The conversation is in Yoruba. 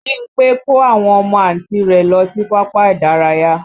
Bímpé kó àwọn ọmọ Àǹti rẹ̀ lọ sí pápá ìdárayá